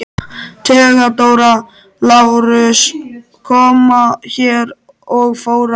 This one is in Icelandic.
THEODÓRA: Lárus kom hér og fór aftur.